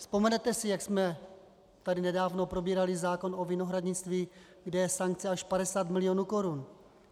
Vzpomenete si, jak jsme tady nedávno probírali zákon o vinohradnictví, kde je sankce až 50 milionů korun.